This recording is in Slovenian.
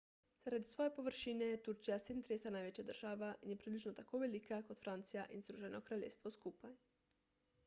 zaradi svoje površine je turčija 37 največja država in je približno tako velika kot francija in združeno kraljestvo skupaj